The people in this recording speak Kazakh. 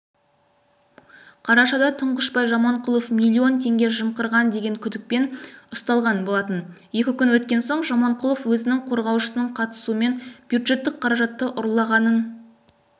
қарашада тұңғышбай жаманқұлов миллион теңге жымқырған деген күдікпен ұсталған болатын екі күн өткен соң жаманқұлов өзінің қорғаушысының қатысуымен бюджеттік қаражатты ұрлағанын